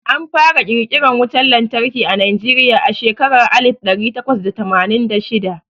Anfara ƙirƙiran wutan lantarki a Najeriya a shekarar alif ɗari takwas da tamanin da shida.